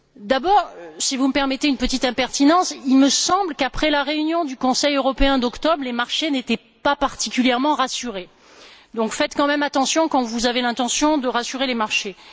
D'abord, si vous me permettez une petite impertinence, il me semble qu'après la réunion du Conseil européen d'octobre, les marchés n'étaient pas particulièrement rassurés. Donc, faites quand même attention quand vous avez l'intention de rassurer les marchés.